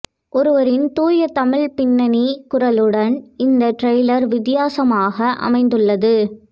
ஒருவரின் தூய தமிழ் பின்னணி குரலுடன் இந்த டிரெய்லர் வித்தியாசமாக அமைந்துள்ளது